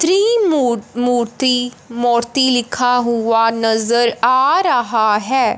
Three मु मूर्ति मूर्ति लिखा हुआ नजर आ रहा है।